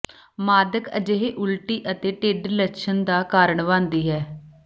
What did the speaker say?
ਮਾਦਕ ਅਜਿਹੇ ਉਲਟੀ ਅਤੇ ਿਢੱਡ ਲੱਛਣ ਦਾ ਕਾਰਨ ਬਣਦੀ ਹੈ